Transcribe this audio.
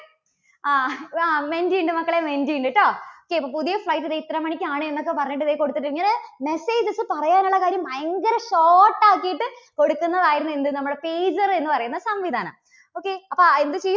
ആ അഹ് ആ menti യുണ്ട് മക്കളേ, menti യുണ്ട് കേട്ടോ. okay ദേ പുതിയ flight ദേ ഇത്ര മണിക്കാണ് എന്നൊക്കെ പറഞ്ഞിട്ട് ദേ കൊടുത്തിട്ടുണ്ട്. ഇങ്ങനെ messages പറയാനുള്ള കാര്യം ഭയങ്കര short ആക്കിയിട്ട് കൊടുക്കുന്നത് ആയിരുന്നു എന്ത് നമ്മുടെ pager എന്നുപറയുന്ന സംവിധാനം. okay അപ്പോ എന്ത് ചെയ്യും?